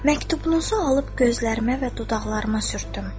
Məktubunuzu alıb gözlərimə və dodaqlarıma sürtdüm.